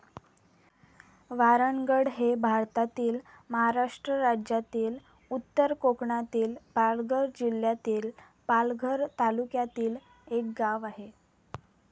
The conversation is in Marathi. वारणगड हे भारतातील महाराष्ट्र राज्यातील उत्तर कोकणातील पालघर जिल्ह्यातील पालघर तालुक्यातील एक गाव आहे.